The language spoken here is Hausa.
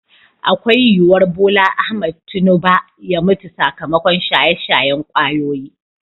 Akwai yuwar BOLA AHMED TINUBA ya mutu sakamakon shaye-shayen kwayoyi.